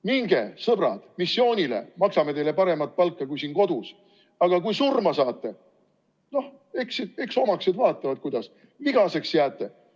Minge, sõbrad, missioonile, maksame teile paremat palka kui kodus, aga kui surma saate, no eks siis omaksed vaatavad, kuidas.